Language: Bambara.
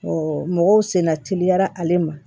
mɔgɔw senna teliyara ale ma